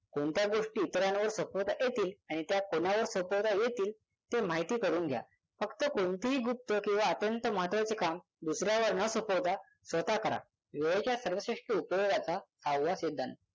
कोणत्या गोष्टी इतरांवर सोपवता येतील आणि त्यात कोणावर सोपवता येतील ते माहिती करून घ्या फक्त कोणतीही गुप्त किंवा अत्यंत महत्त्वाचे काम दुसऱ्यावर न सोपवता स्वतः करा वेळेच्या सर्वश्रेष्ठ उपयोगाचा सहावा सिद्धांत